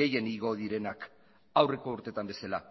gehien igo direnak aurreko urtetan bezala